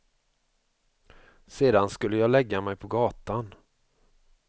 Sedan skulle jag lägga mig på gatan.